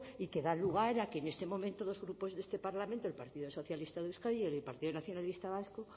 y que da lugar a que en este momento dos grupos de este parlamento el partido socialista de euskadi y el partido nacionalista vasco